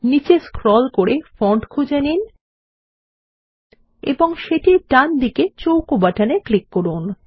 নিচে স্ক্রল করে ফন্ট খুঁজে নিন এবং সেটির ডানদিকে চৌকো বাটন এ ক্লিক করুন